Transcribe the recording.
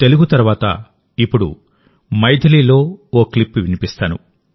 తెలుగు తర్వాత ఇప్పుడు మైథిలిలో ఓ క్లిప్ వినిపిస్తాను